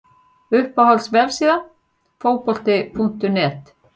Uppáhalds vefsíða? Fótbolti.net